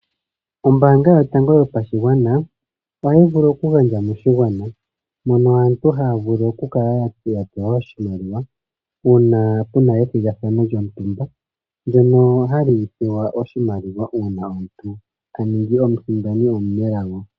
Ombanga yotango yopashigwana otayi vulu okugandja moshigwana, moka aantu haya vulu okukala ya pewa oshimaliwa, uuna puna ethigathano lyontumba, ndyoka hali pewa oshimaliwa uuna omuntu ta ningi omusindani omunelago.